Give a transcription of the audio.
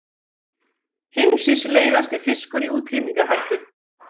Heimsins leiðasti fiskur í útrýmingarhættu